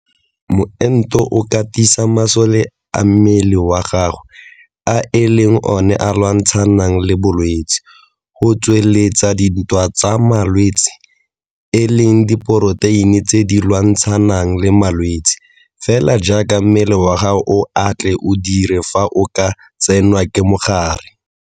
Moento o katisa masole a mmele wa gago a e leng one a lwantshanang le bolwetse go tsweletsa ditwantshamalwetse e leng diporoteine tse di lwantshanang le malwetse fela jaaka mmele wa gago o a tle o dire fa o ka tsenwa ke mogare.